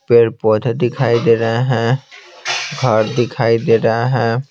पेड़-पौधे दिखाई दे रहे हैं घर दिखाई दे रहा है।